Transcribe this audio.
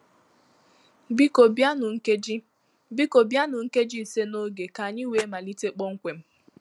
Biko bịanụ nkeji Biko bịanụ nkeji ise n'oge ka anyị wee malite kpọmkwem